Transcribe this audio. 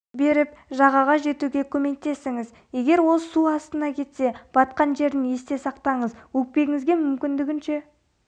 беріп жағаға жетуге көмектесіңіз егер ол су астына кетсе батқан жерін есте сақтаңыз өкпеңізге мүмкіндігінше